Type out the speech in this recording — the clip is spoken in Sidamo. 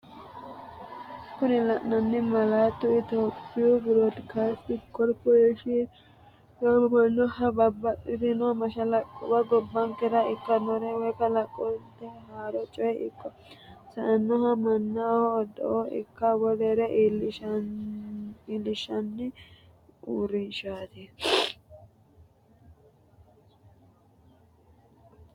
Kuni lainnanni malaatu etiyophiwu brodikasting copporetion yamamannoha babaxitinno mashalaqquwa gobbankera ikkinore woy kalaqaminnore haaro coy ikko sa'noha mannaho oddo ikko wolere iillinshshanni uurinshshati.